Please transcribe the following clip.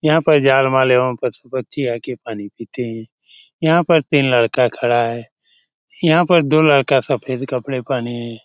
यहाँ पर जान-माल एवं पशु-पक्षी आकर पानी पीते हैं यहाँ पर तीन लड़का खड़ा है यहाँ पर दो लड़का सफेद कपड़ा पहने है।